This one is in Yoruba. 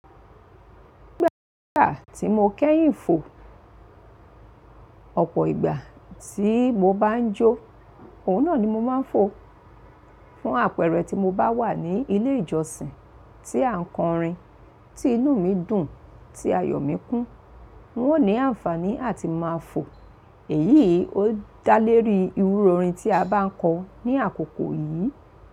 Gbogbo ìgbà tí mo kẹ́yìn fò, ọ̀pọ̀ ìgbà tí mo bá ń jó, òun náà ni mo máa ń fò. Fún àpẹẹrẹ tí mo bá wà ní ilé ìjọsìn tí à ń kọrin, tí inú mi dùn, tí ayọ̀ mi kún, n ó ní àǹfààní àti máa fò. Èyí ó dá léèrí irú orin tí a bá ń kọ ní àkókò yìí.